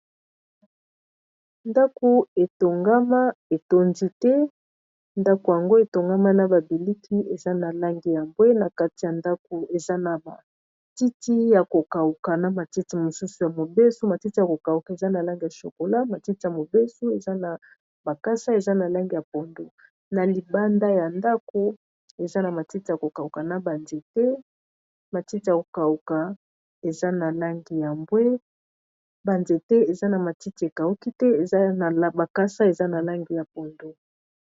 Ndako etongama etondi te ndako yango etongama na ba biliki eza na langi ya mbwe na kati ya ndako eza na matiti ya ko kauka na matiti mosusu ya mobeso matiti ya ko kauka eza na langi ya shokola matiti ya mobeso eza na bakasa eza na langi ya pondo na libanda ya ndako eza na matiti ya ko kauka na ba nzete ba nzete eza na matiti ekauki te eza ba kasa eza na langi ya pondu.